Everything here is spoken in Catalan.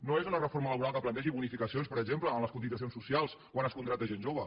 no és una reforma laboral que plantegi bonificacions per exemple en les cotitzacions socials quan es contracta gent jove